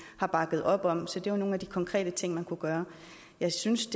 har bakket op om så det er nogle af de konkrete ting man kunne gøre jeg synes